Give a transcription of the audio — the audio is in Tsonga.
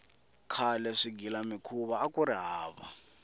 khale swigilamikhuva akuri hava